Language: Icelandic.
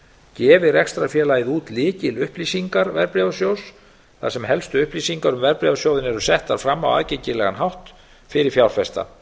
gefi rekstrarfélagið út lykilupplýsingar verðbréfasjóðs þar sem helstu upplýsingar um verðbréfasjóðinn eru settar fram á aðgengilegan hátt fyrir fjárfesta